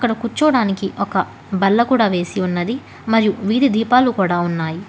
కూర్చోవడానికి ఒక బల్ల కూడా వేసి ఉన్నది మరియు వీధి దీపాలు కూడా ఉన్నాయి.